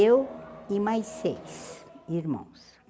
Eu e mais seis irmãos.